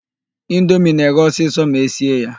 Indomie na-eghe ọsịsọ ma esie ya.